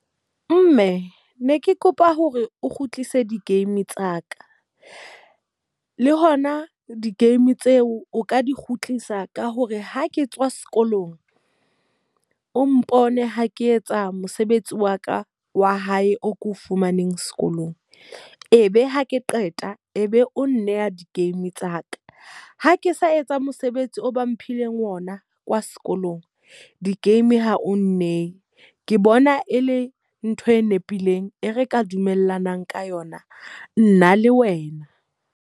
Mme, ne ke kopa hore o kgutlise di-game tsa ka. Le hona di-game tseo o ka di kgutlisa ka hore ha ke tswa sekolong, o mpone ha ke etsa mosebetsi wa ka wa hae o ko fumaneng sekolong. E be hake qeta, e be o nneha di-game tsa ka. Ha ke sa etsa mosebetsi o ba mphileng ona kwa sekolong, di-game ha o nneye. Ke bona e le ntho e nepileng e re ka dumellanang ka yona, nna le wena.